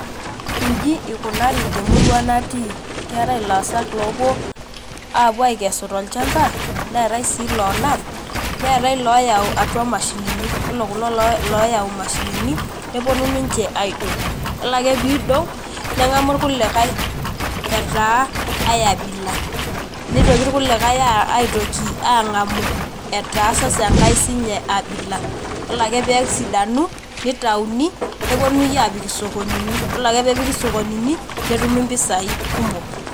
Inji ikunari temurua natii ,keetae ilaasak opuo apuo akesu tolchamba neetau si lonap neetai loyau atua mashinini, yiolo kulo loyau mashinini neponu ninche aidong yiolo ake pidong nengamu rkulikae etaa ai abila, nitoki irkulikae aitoki angamu etaa sasa enkae abila, yiolo ake pesidanu nitauni nepoi apik isokonini yiolo ake pepiki sokonini netumi mpisai kumok.